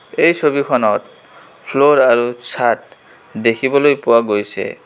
এই ছবিখনত ফ্ল'ৰ আৰু ছাদ দেখিবলৈ পোৱা গৈছে.